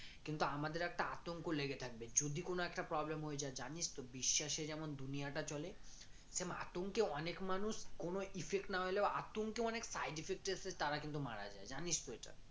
কিন্তু আমাদের একটা আতঙ্ক লেগে থাকবে যদি কোন একটা problem হয়ে যায় জানিস তো বিশ্বাসে যেমন দুনিয়াটা চলে আতঙ্কে অনেক মানুষ কোনো effect না হলেও আতঙ্কে side effect এসে তারা কিন্তু মারা যায় জানিস তো এটা